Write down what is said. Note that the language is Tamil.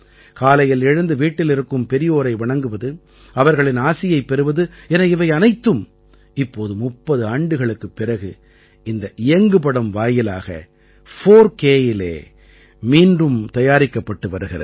காலையில் எழுந்து வீட்டில் இருக்கும் பெரியோரை வணங்குவது அவர்களின் ஆசியைப் பெறுவது என இவை அனைத்தும் இப்போது 30 ஆண்டுகளுக்குப் பிறகு இந்த இயங்குபடம் வாயிலாக 4K யிலே மீண்டும் தயாரிக்கப்பட்டு வருகிறது